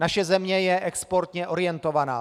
Naše země je exportně orientovaná.